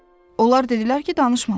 Onlar dedilər ki, danışmamışıq.